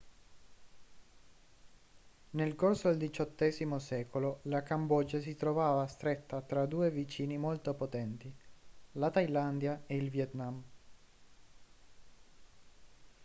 nel corso del xviii secolo la cambogia si trovava stretta tra due vicini molto potenti la thailandia e il vietnam